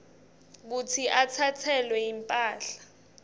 kutsi atsatselwe imphahla